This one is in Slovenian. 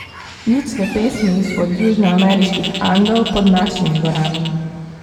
Ljudske pesmi izpod južnoameriških Andov pod našimi gorami.